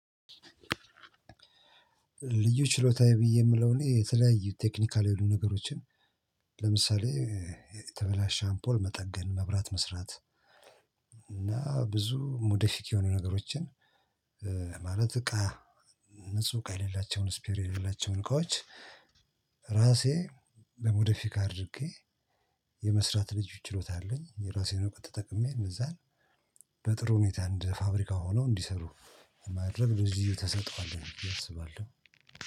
ልዩ ችሎታዬ ብዬ ምለው እኔ የተለያዩ ቴክኒካል የሆኑ ነገሮችን ለምሳሌ የተበላሸ አምፖል መጠገን መብራት መስራት። እና ብዙ ሞዴፊክ የሆኑ ነገሮችን። ማለት እቃ ንጹህ እቃ የሌላቸውን ስፒር የሌላቸውን እቃዎች። ራሴ በሞዴፊካ አድርጌ የመስራት ልዩ ችሎታ አለኝ የራሴን ተጠቅሜ እንደዛ ነው። በጥሩ ሁኔታ እንደ ፋብሪካ ሆነው እንዲሰሩ የማረም ጊዜ ተሰጥዖ አለኝ ብዬ አስባለሁ።